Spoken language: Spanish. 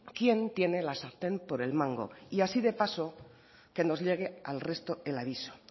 quién tiene la sartén por el mango y así de paso que nos llegue al resto el aviso